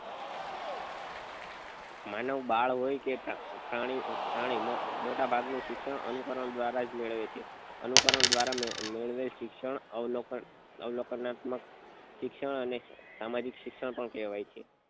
માનવબાળ હોય કે પ્રાણી પ્રાણી માં મોટા ભાગ નું શિક્ષણ અનુકરણ દ્વારા જ મેળવે છે અનુકરણ દ્વારા મેળવેલ મેળવેલ શિક્ષણ અવલોકન અવલોકનાત્મક શિક્ષણ અને સામાજિક શિક્ષણ પણ કહેવાય છે